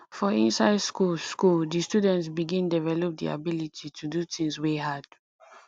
for inside school school di student begin develop di ability to do things wey hard